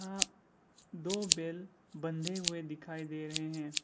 दो बैल बंधे हुए दिखाई दे रहे हैं।